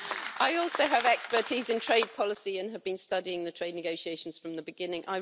I also have expertise in trade policy and have been studying the trade negotiations from the beginning.